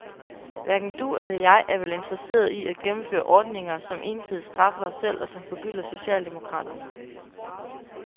Hverken du eller jeg er vel interesserede i at gennemføre ordninger som ensidigt straffer os selv og som forgylder socialdemokraterne.